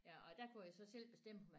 Ja og der kunne jeg så selv bestemme